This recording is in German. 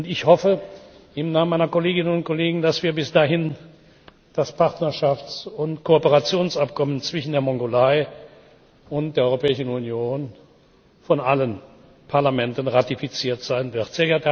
Ich hoffe im Namen meiner Kolleginnen und Kollegen, dass bis dahin das Partnerschafts und Kooperationsabkommen zwischen der Mongolei und der Europäischen Union von allen Parlamenten ratifiziert sein wird.